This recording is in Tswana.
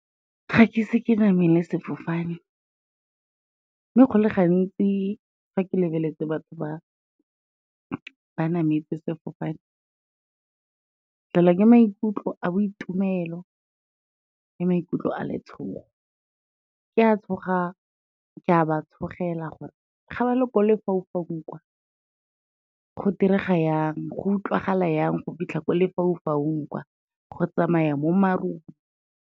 Ga ke ise ke namele sefofane, mme go le gantsi fa ke lebeletse batho ba nametse sefofane, ke tlelwa ke maikutlo a boitumelo le maikutlo a letshogo, ke a tshoga, ke a ba tshologela gore ga ba le ko lefaufaung kwa, go direga jang, go utlwalega jang go fitlha ko lefaufaung kwa, go tsamaya mo marung.